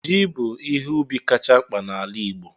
Ji bụ ihe ubi kacha mkpa n'ala Igbo